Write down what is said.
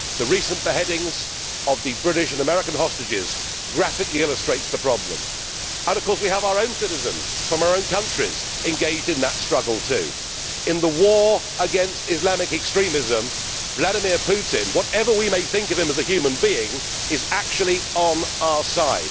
The recent beheadings of the British and American hostages graphically illustrates the problem, and we have our citizens from our own countries engaged in that struggle too. In the war against Islamic extremism, Vladimir Putin, whatever we may think of him as a human being, is actually on our side.